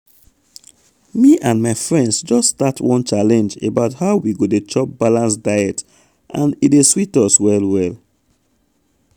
me and my friends just start one challenge about how we go dey chop balanced diet and e dey sweet us well well.